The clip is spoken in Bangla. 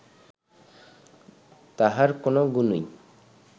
তাঁহার কোন গুণই